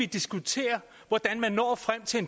diskutere hvordan man når frem til